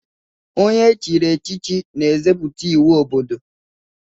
Onye echiri echichi na-edebz iwu obodo.